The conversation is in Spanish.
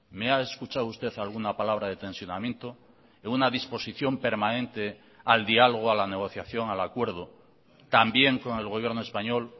me ha escuchado usted alguna palabra de tensionamiento en una disposición permanente al diálogo a la negociación al acuerdo también con el gobierno español